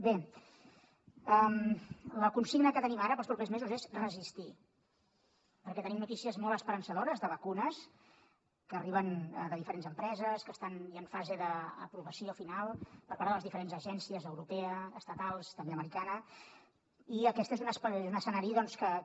bé la consigna que tenim ara per als propers mesos és resistir perquè tenim notícies molt esperançadores de vacunes que arriben de diferents empreses que estan ja en fase d’aprovació final per part de les diferents agències europea estatals també americana i aquest és un escenari que